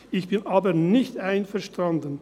Ich bin aber nicht einverstanden.